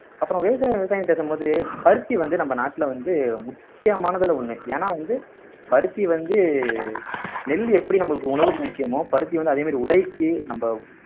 அப்புறம் விவசாயம் விவசாயம் பேசும்போது பருத்தி வந்து நம்ம நாட்டுல வந்து முக்கியமானதுல ஒண்ணு ஏன்னா வந்து பருத்தி வந்து நெல் எப்படி நம்மளுக்கு உணவுக்கு முக்கியமோ பருத்தி வந்து அதே மாதிரி உடைக்கு நம்ப